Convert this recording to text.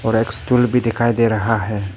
और एक स्टूल भी दिखाई दे रहा है।